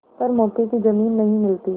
पर मौके की जमीन नहीं मिलती